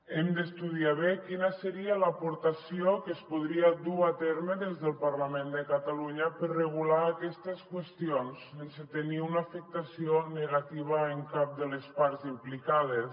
hem d’estudiar bé quina seria l’aportació que es podria dur a terme des del parlament de catalunya per regular aquestes qüestions sense tenir una afectació negativa en cap de les parts implicades